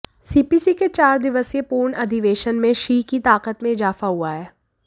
CPC के चार दिवसीय पूर्ण अधिवेशन में शी की ताकत में इजाफा हुआ है